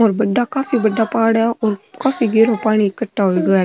और बड़ा काफी बड़ा पहाड़ है और काफी गहरा पाणी इकठ्ठा होयडा है।